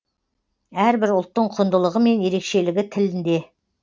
әрбір ұлттың құндылығы мен ерекшелігі тілінде